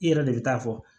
I yɛrɛ de bɛ taa fɔ